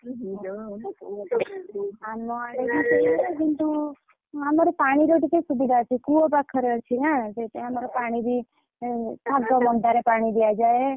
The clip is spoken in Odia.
ଉହୁଁ ଯୋଉ ଆମ ଆଡେ ବି ସେୟା କିନ୍ତୁ ଆମର ପାଣିର ଟିକେ ସୁବିଧା ଅଛି। କୂଅ ପାଖରେ ଅଛି ନା ସେଥିପାଇଁ ଆମର ପାଣି ବି ଏଁ ଶାଗ ମନ୍ଦାରେ ପାଣି ଦିଆଯାଏ।